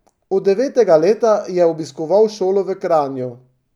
Od devetega leta je obiskoval šolo v Kranju.